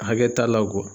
Hakɛ t'a la